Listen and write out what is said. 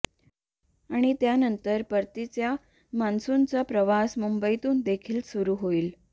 आणि त्यानंतर परतीचा मान्सूनचा प्रवास मुंबईतून देखील सुरु होईल